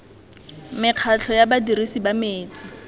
mekgatlho ya badirisi ba metsi